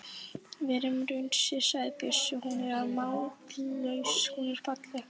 Verum raunsæ, sagði Bjössi, hún er mállaus, hún er falleg.